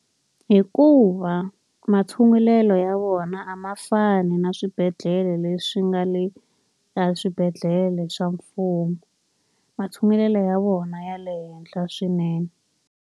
Hikuva ma tshungulelo ya vona a ma fani na swibedhlele leswi nga le ka swibedhlele swa mfumo. Matshungulelo ya vona ya le henhla swinene.